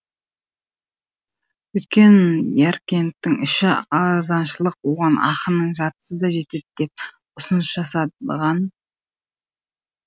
өйткені яркенттің іші арзаншылық оған ақының жартысы да жетеді деп ұсыныс жасаған